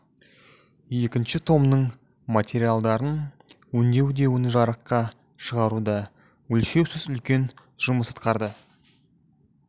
екінші томның материалдарын өңдеуде оны жарыққа шығаруда өлшеусіз үлкен жұмыс атқарды